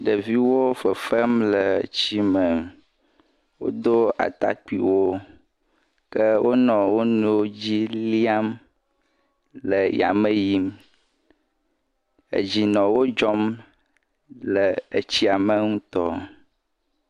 Ɖeviwo le fefem le tsi me. Wodo atakpuiwo ke wonɔ wonuiwo dzi líam le yame yim. Dzi nɔ wodzɔm le tsia me ŋutɔ.